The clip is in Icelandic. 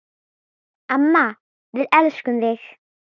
Amma, við elskum þig.